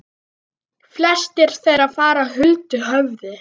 Flestir þeirra fara huldu höfði.